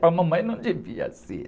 Para a mamãe, não devia ser.